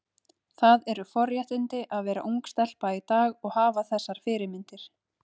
Það eru forréttindi að vera ung stelpa í dag og hafa þessar fyrirmyndir.